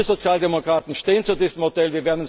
werden soll. Wir Sozialdemokraten stehen